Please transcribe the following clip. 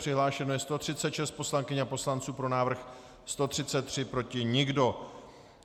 Přihlášeno je 136 poslankyň a poslanců, pro návrh 133, proti nikdo.